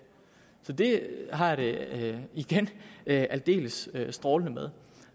så det har jeg det igen aldeles strålende med